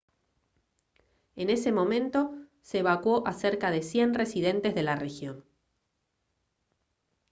en ese momento se evacuó a cerca de 100 residentes de la región